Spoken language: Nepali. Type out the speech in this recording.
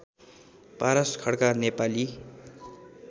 पारस खड्का नेपाली